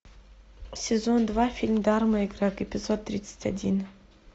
сезон два фильм дарма и грег эпизод тридцать один